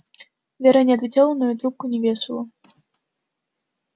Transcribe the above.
вера не отвечала но и трубку не вешала